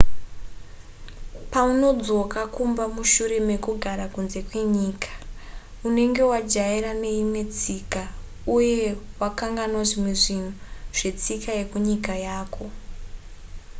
paunodzoka kumba mushure mekugara kunze kwenyika unenge wajairana neimwe tsika uye wakanganwa zvimwe zvinhu zvetsika yekunyika yako